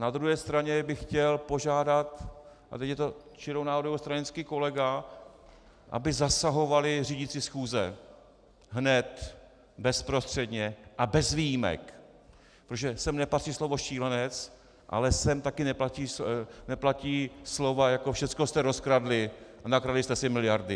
Na druhé straně bych chtěl požádat, a teď je to čirou náhodou stranický kolega, aby zasahovali řídící schůze hned, bezprostředně a bez výjimek, protože sem nepatří slovo "šílenec", ale sem taky nepatří slova jako "všechno jste rozkradli a nakradli jste si miliardy".